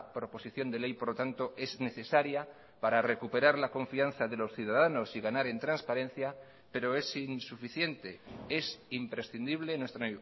proposición de ley por lo tanto es necesaria para recuperar la confianza de los ciudadanos y ganar en transparencia pero es insuficiente es imprescindible en nuestra